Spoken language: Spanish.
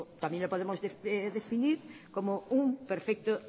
también lo podemos definir como un perfecto